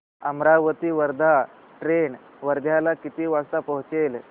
Amravati Wardha train वर्ध्याला किती वाजता पोहचेल